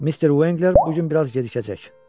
Mister Uenqler bu gün biraz gecikəcək.